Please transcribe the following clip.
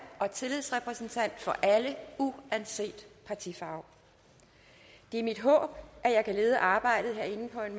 og tillidsrepræsentant for alle uanset partifarve det er mit håb at jeg kan lede arbejdet herinde på en